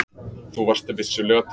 Þú varst vissulega til.